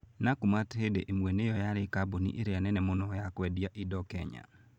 Nakumatt hĩndĩ ĩmwe nĩyo yarĩ kambuni ĩrĩa nene mũno ya kwendia indo Kenya.